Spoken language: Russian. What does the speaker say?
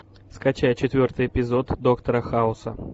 скачай четвертый эпизод доктора хауса